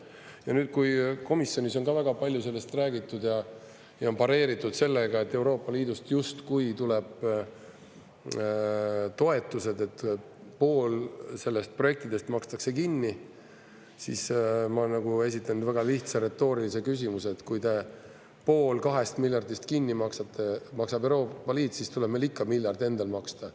Ja nüüd, kui komisjonis on ka väga palju sellest räägitud ja pareeritud sellega, et Euroopa Liidust justkui tuleb toetust, et pool sellest projektidest makstakse kinni, siis ma esitan väga lihtsa retoorilise küsimuse: kui pool kahest miljardist kinni maksab Euroopa Liit, siis tuleb meil ikka miljard endal maksta.